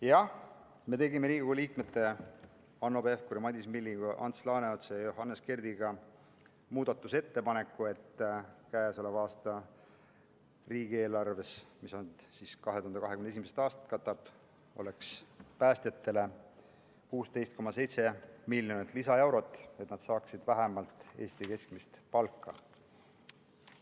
Jah, ma tegin koos Riigikogu liikmete Hanno Pevkuri, Madis Millingu, Ants Laaneotsa ja Johannes Kerdiga muudatusettepaneku, et riigieelarves, mis katab 2021. aastat, oleks päästjatele 16,7 miljonit lisaeurot, et nad saaksid vähemalt Eesti keskmist palka.